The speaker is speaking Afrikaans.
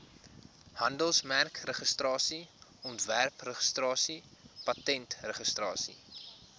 handelsmerkregistrasie ontwerpregistrasie patentregistrasie